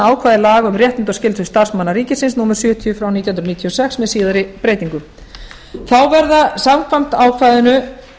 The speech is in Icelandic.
ákvæði laga um réttindi og skyldur starfsmanna ríkisins númer sjötíu nítján hundruð níutíu og sex með síðari breytingum þá verða samkvæmt ákvæðinu